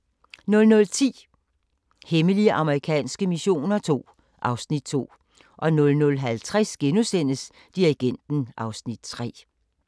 00:10: Hemmelige amerikanske missioner II (Afs. 2) 00:50: Dirigenten (Afs. 3)*